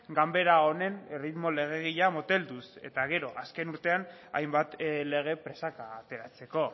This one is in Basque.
ganbara honen erritmo legegilea motelduz gero azken urtean hainbat lege presaka ateratzeko